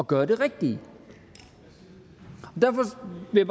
gøre det rigtige derfor vil